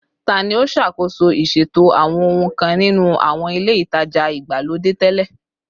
Tani o ṣakoso iṣeto awọn ohun kan ninu awọn ile itaja igbalode tẹlẹ?